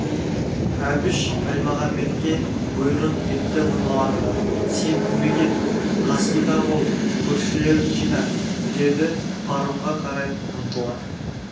әбіш әлмағамбетке бұйрық етті мыналарға сен көмек ет қасында бол көршілерін жина деді паромға қарай ұмтыла